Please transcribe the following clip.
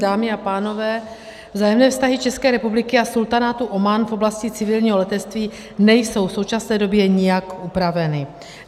Dámy a pánové, vzájemné vztahy České republiky a Sultanátu Omán v oblasti civilního letectví nejsou v současné době nijak upraveny.